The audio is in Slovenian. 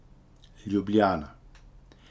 Ljubljana.